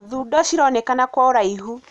Thundo cironekana kwa ũraihu.